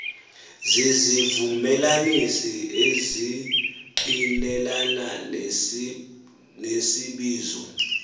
zizivumelanisi ezingqinelana nesibizo